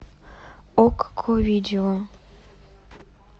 окко видео